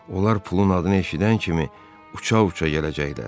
Onlar pulun adını eşidən kimi uça-uça gələcəklər.